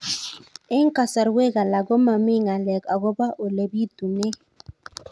Eng' kasarwek alak ko mami ng'alek akopo ole pitunee